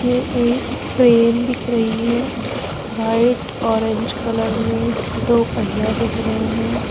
ये एक क्रेन दिख रही है व्हाइट ऑरेंज कलर में। दो पहिया दिख रहे हैं।